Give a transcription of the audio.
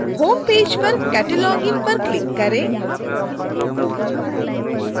homepage पर cataloging पर click करें